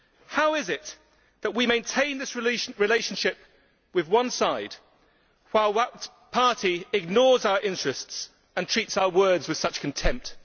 How is it that we maintain this relationship with one side, while that party ignores our interests and treats our words with such contempt?'